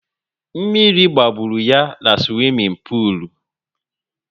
Mmiri gbagburu ya na swimin polu